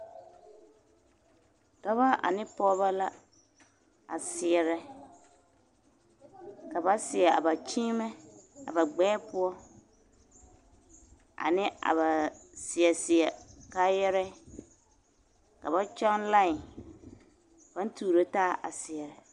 Dɔba ane pɔɡebɔ la a seɛrɛ ka ba seɛ a ba kyiimɛ a ba ɡbɛɛ poɔ ane a ba seɛseɛ kaayɛrɛɛ ka ba kyɔɡe lai a pãã tuuro taa a seɛrɛ.